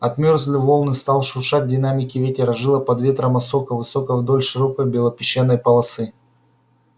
отмёрзли волны стал шуршать в динамике ветер ожила под ветром осока высокая вдоль широкой белопесчаной полосы